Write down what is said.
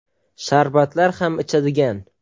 Sharbatlar ham ichadigan.